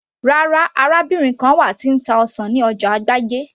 rárá, arábìnrin kan wà tí ń ta ọsàn ní ọjà agbájé